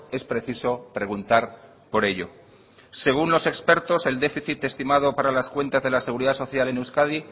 es preciso preguntar por ello según los expertos el déficit estimado para las cuentas de la seguridad social en euskadi